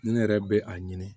Ne yɛrɛ bɛ a ɲini